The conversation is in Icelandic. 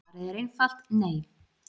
Svarið er einfalt: Nei.